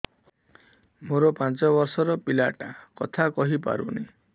ମୋର ପାଞ୍ଚ ଵର୍ଷ ର ପିଲା ଟା କଥା କହି ପାରୁନି